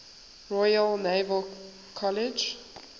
royal naval college